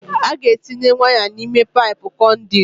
A ga-etinye waya n'ime paipụ conduit.